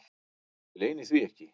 Ég leyni því ekki.